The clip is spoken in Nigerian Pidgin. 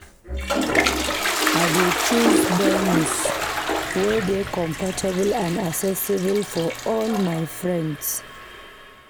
I dey choose venues wey dey comfortable and accessible for all my friends.